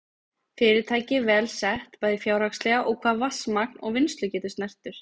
Fyrirtækið vel sett, bæði fjárhagslega og hvað vatnsmagn og vinnslugetu snertir.